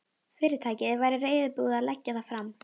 Fyrirtækið væri reiðubúið að leggja það fram.